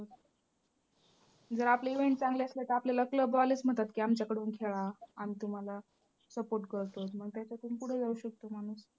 जर आपले event चांगले असले तर आपल्याला club वालेच म्हणतात की आमच्याकडून खेळा, आम्ही तुम्हाला support करतो मग त्याच्यातून पुढे जाऊ शकतो माणूस.